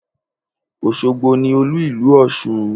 Òṣogbo ni Olú ìlú Ọ̀ṣun.